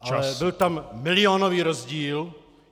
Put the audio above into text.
Ale byl tam milionový rozdíl.